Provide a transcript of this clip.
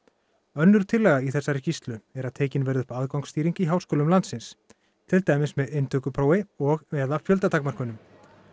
önnur tillaga í þessari skýrslu er að tekin verði upp aðgangsstýring í háskólum landsins til dæmis með inntökuprófi og eða fjöldatakmörkunum